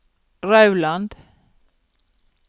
Rauland